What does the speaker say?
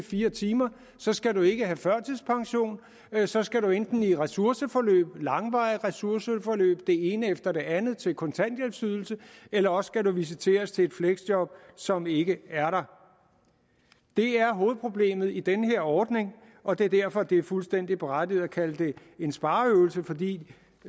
fire timer så skal du ikke have førtidspension men så skal du enten i et ressourceforløb langvarige ressourceforløb det ene efter det andet til kontanthjælpsydelse eller også skal du visiteres til et fleksjob som ikke er der det er hovedproblemet i den her ordning og det er derfor at det er fuldstændig berettiget at kalde det en spareøvelse fordi